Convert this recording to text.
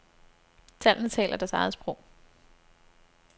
Tallene taler deres eget sprog.